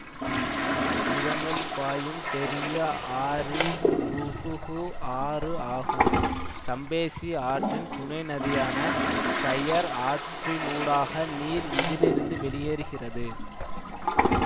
இதனுள் பாயும் பெரிய ஆறி ருகுகு ஆறு ஆகும் சம்பேசி ஆற்றின் துணை நதியான ஷயர் ஆற்றினூடாக நீர் இதிலிருந்து வெளியேறுகிறது